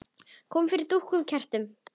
Kom fyrir dúkum og kertum.